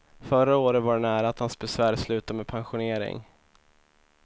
Förra året var det nära att hans besvär slutade med pensionering.